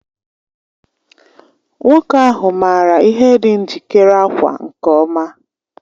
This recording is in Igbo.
Nwoke ahụ maara ihe dị njikere ákwà nke ọma